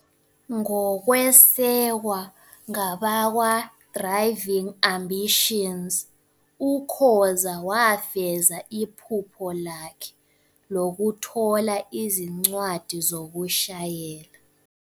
Ngokwesekwa ngabakwaDriving Ambitions, uKhoza wafeza iphupho lakhe lokuthola izincwadi zokushayela.